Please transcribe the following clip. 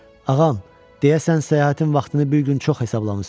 Ağam, deyəsən səyahətin vaxtını bir gün çox hesablamısınız.